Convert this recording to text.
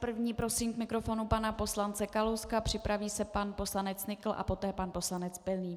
První prosím k mikrofonu pana poslance Kalouska, připraví se pan poslanec Nykl a poté pan poslanec Pilný.